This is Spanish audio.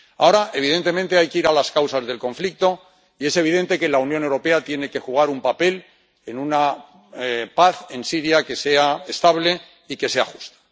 Ahora, evidentemente, hay que ir a las causas del conflicto, y es evidente que la Unión Europea tiene que jugar un papel en una paz en Siria que sea estable y que sea justa.